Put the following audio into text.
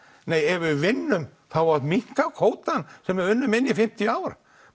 en ef við vinnum á að minnka kvótann sem við unnum okkur inn í fimmtíu ár